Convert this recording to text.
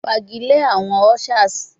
Fagilee awọn ushers